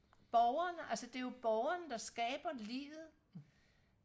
borgeren altså det er jo borgeren der skaber livet